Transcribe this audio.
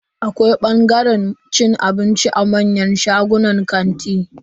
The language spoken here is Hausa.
Akwai bangaren cin abinci a manyan shagunan kanti.